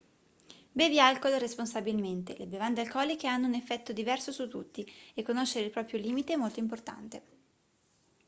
bevi alcol responsabilmente le bevande alcoliche hanno un effetto diverso su tutti e conoscere il proprio limite è molto importante